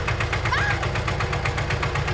Varstu lengi?